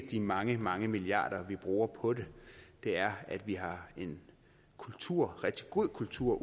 de mange mange milliarder vi bruger på det det er at vi har en kultur rigtig god kultur